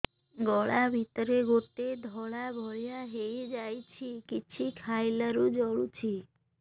ଗଳା ଭିତରେ ଗୋଟେ ଧଳା ଭଳିଆ ହେଇ ଯାଇଛି କିଛି ଖାଇଲାରୁ ଜଳୁଛି